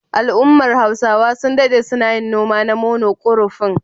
Al'ummar Hausawa sun daɗe suna yin noma na mono kurofin.